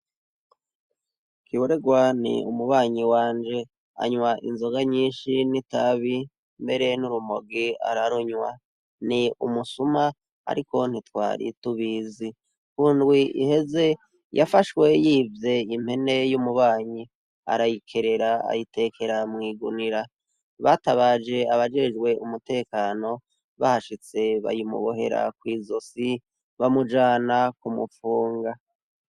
Kiboregwa ni umubanyi wanje anywa inzoga nyinshi n'itabi mbere n'urumogi ararunywa, ni umusuma ariko ntitwari tubizi, kundwi iheze yafashwe yivye impene y'umubanyi, arayikerera ayitekera mwigunira, batabaje abajejwe umutekano bahashitse bayimubohera kw'izosi bamujana kumupfunga.